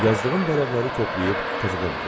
Yazdığım vərəqləri toplayıb təzədən oxudum.